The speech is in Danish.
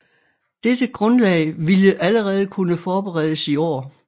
Dette Grundlag vilde allerede kunne forberedes i Aar